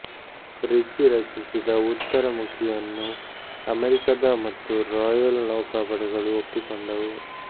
Richie ರಚಿಸಿದ ಉತ್ತರ ಮುಖಿಯನ್ನು ಅಮೆರಿಕದ ಮತ್ತು ರಾಯಲ್ ನೌಕಾಪಡೆಗಳು ಒಪ್ಪಿಕೊಂಡುವು